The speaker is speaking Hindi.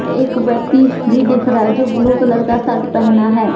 एक व्यक्ति भी दिख रहा है जो ब्लू कलर का शर्ट पहना है।